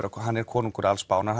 hann er konungur alls Spánar